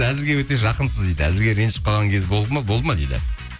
әзілге өте жақынсыз дейді әзілге ренжіп қалған кез болды ма дейді